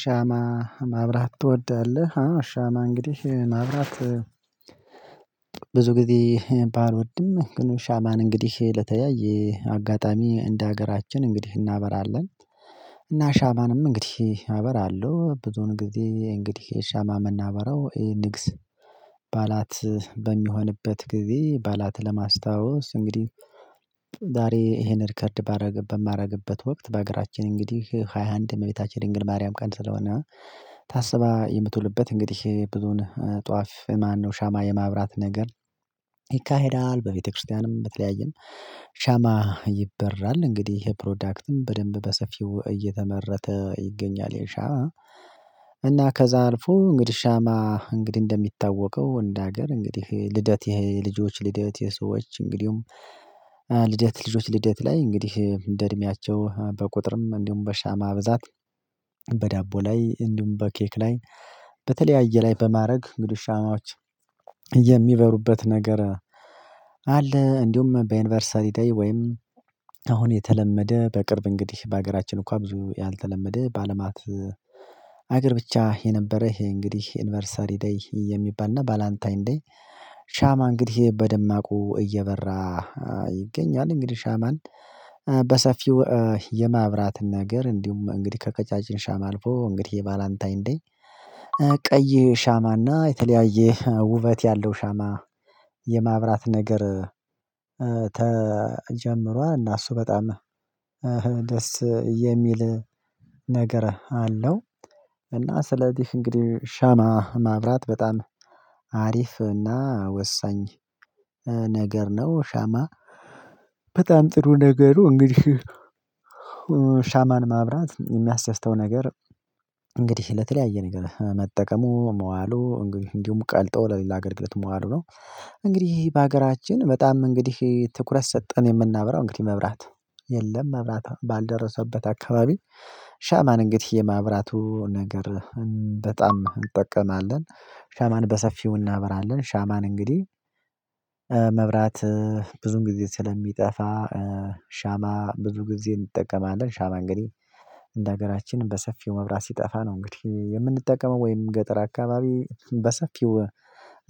ሻማ ማብራት ትወዳለህ? ሻማ እንግዲህ ማብራት ብዙ ጊዜ ባልወድም ግን ሻማን እንግዲህ ለተለያየ አጋጣሚ እንደ ሀገራችን እንግዲህ እናበራለን። እና ሻማንም እንግዲህ አበራለሁ ብዙዉን ጊዜ እንግዲህ ሻማ ምናበረው ይሄ ንግስ ባዓላት በሚሆንበት ጊዜ ባዓላት ለማስታወስ እንግዲህ ዛሬ ይሄን ሪከርድ ባደረግበት በማደርግበት ወቅት በሀገራችን እንግዲህ ሃያ አንድ ነው እመቤታችን የድንግል ማርያም ቀን ስለሆነ ታስባ የምትውልበት እንግዲህ ብዙን ጧፍ ማነው ሻማ የማብራት ነገር። ይካሄዳል በቤተክርስቲያንም በተለያየም ሻማ ይበራል እንግዲህ ይሄ ፕሮዳክትም በደንብ በሰፊው እየተመረተ ይገኛል ይህ ሻማ። እና ከዛ አልፎ እንግዲህ ሻማ እንግዲህ እንደሚታወቀው እንደ ሀገር እንግዲህ ልደት ይሄ ልጆች ልደት ይሄ ሰዎች እንግዲሁም ልደት ልጆች ልደት ላይ እንግዲህ እንደ እድሜያቸው በቁጥርም እንዲሁም በሻማ ብዛት በዳቦ ላይ እንደውም በኬክ ላይ በተለያየ ላይ በማድረግ እንግድ ሻማዎች የሚበሩበት ነገር አለ። እንዲሁም በዩኒ ቨርሰሪ ደይ ወይም አሁን የተለመደ በቅርብ እንግዲህ በሀገራችን እንኳን ብዙ ያልተለመደ በአለማት ሀገር ብቻ የነበረህ ይሄ እንግዲህ ዩኒቨሪሰሪ ዴይ የሚባልና ቫላንታይን ዴይ ሻማ እንግዲህ በደማቁ እየበራ ይገኛል። እንግዲህ ሻማን በሰፊው የማብራት ነገር እንዲሁም እንግዲህ ከቀጫጭን ሻማ አልፎ እንግዲህ ባላንታይ እንዴ ቀይ ሻማና የተለያየ ውበት ያለው ሻማ የማብራት ነገር። ተጀምሯ እና እሱ በጣም ደስ የሚል ነገር አለው እና ስለዚህ እንግዲህ ሻማ ማብራት በጣም አሪፍ እና ወሳኝ ነገር ነው። ሻማ በጣም ጥሩ ነገሩ እንግዲህ ሻማን ማብራት የሚያስደስተው ነገር ለተለያየ ነገር መጠቀሙ መዋሉ እንግዲህ እንዲሁም ቀልጠው ለሌላ አገልግለት መዋሉ ነው። እንግዲህ በሀገራችን በጣም እንግዲህ ትኩረት ሰጠን የምናብራው እንግዲህ መብራት የለም መብራት ባልደረሰበት አካባቢ። ሻማን እንግዲህ የማብራቱ ነገር በጣም እንጠቀማለን ሻማን በሰፊው እናበራለን ሻማን እንግዲህ መብራት ብዙዉን ጊዜ ስለሚጠፋ ሻማ ብዙ ጊዜ እንጠቀማለን ሻማ እንግዲህ እንደ ሀገራችን በሰፊው መብራት ሲጠፋ ነው እንግዲህ የምንጠቀመው ወይም ገጠር አካባቢ በሰፊው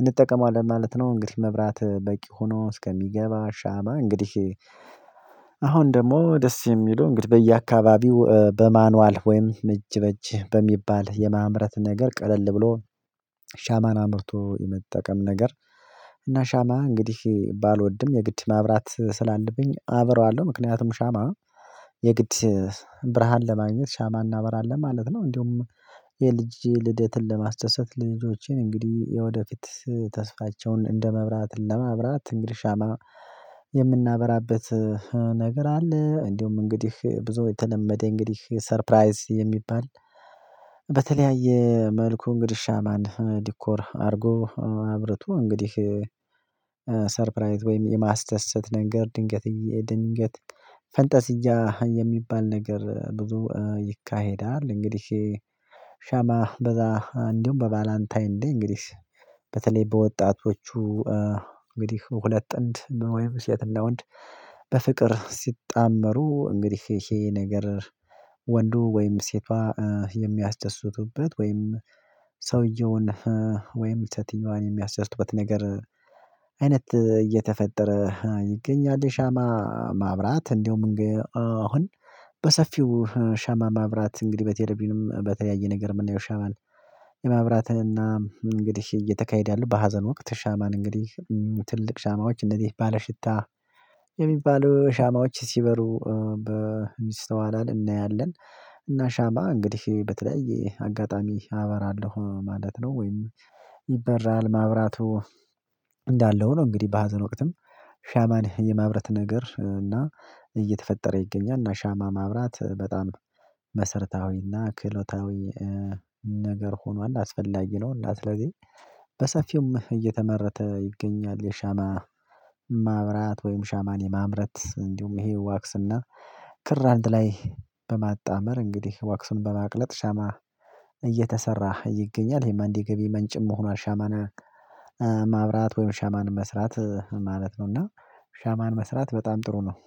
እንጠቀመዋለን ማለት ነው። እንግዲህ መብራት በቂ ሆኖ እስከሚገባ ሻማ እንግዲህ አሁን ደግሞ ደስ የሚሉ እንግዲህ በየአካባቢው በማኑዋል ወይም እጅ በእጅ በሚባል የማምረት ነገር ቀለል ብሎ ሻማን አምርቶ የመጠቀም ነገር እና ሻማ እንግዲህ ባልወድም የግድ ማብራት ስላለብኝ አበራዋለሁ ምክንያቱም ሻማ የግድ ብርሃን ለማግኘት ሻማ እናበራለን ማለት ነው። እንደውም የልጄ ልደትን ለማስደሰት ልጆቼን እንግዲህ የወደፊት ተስፋቸውን እንደ መብራት ለመብራት እንግዲህ ሻማ የምናበራበት ነገር አለ። እንደውም እንግዲህ ብዙ የተለመደ እንግዲህ ሰርፕራይዝ የሚባል በተለያየ መልኩ እንግዲህ ሻማን ዲኮር አድርጎ አብረቶ እንግዲህ ሰርፕራይዝ ወይም የማስደሰት ነገር ድንገት ድንገት ፈንጠዚያ የሚባል ነገር ብዙ ይካሄዳል እንግዲህ። ሻማ በዛ እንዲሁም በባላንታይን ደይ እንግዲህ በተለይ በወጣቶቹ እንግዲህ ሁለት ጥንድ ወይም ሴትና ወንድ በፍቅር ሲጣመሩ እንግዲህ ይሄ ነገር ወንዱ ወይም ሴቷ የሚያስደስቱበት ወይም ሰውየውን ወይም ሴትየዋን የሚያስደስቱበት ነገር አይነት እየተፈጠረ ይገኛል። ሻማ ማብራት እንደውም አሁን በሰፊው ሻማ ማብራት እንግዲህ በቴሌቭዥንም ን በተለያየ ነገር የምናየው ሻማን የማብራትና እንግዲህ እየተካሄደ ያለው በሀዘን ወቅት ሻማን እንግዲህ ትልቅ ሻማዎች እንደዚህ ባለሽታ የሚባሉ ሻማዎች ሲበሩ በሚስተዋላላ እናያለን እና ሻማ እንግዲህ በተለያየ አጋጣሚ አበራለሁ ማለት ነው። ወይም ይበራል ማብራቱ እንዳለ ሆኖ እንግዲህ በሀዘን ወቅትም ሻማን የማብረት ነገር እና እየተፈጠረ ይገኛል እና ሻማ ማብራት በጣም መሰርታዊ እና ክህሎታዊ ነገር ሆኗል አስፈላጊ ነው። እና ስለዚህ በሰፊው እየተመረተ ይገኛል የሻማ ማብራት ወይም ሻማን የማምረት እንዲሁም ይሄ ዋክስና ክር አንድ ላይ በማጣመር እንግዲህ ዋክሱን በማቅለጥ ሻማ እየተሰራ ይገኛል ይሄም አንድ የገቢ መንጭም ሆኗል ሻማና ማብራት ወይም ሻማን መስራት ማለት ነው። እና ሻማን መስራት በጣም ጥሩ ነው